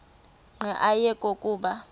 nqe ayekho kuba